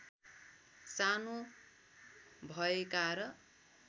सानो भएका र